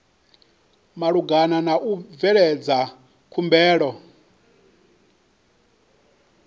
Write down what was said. malugana na u bveledza khumbelo